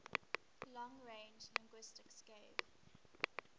long range linguistics gave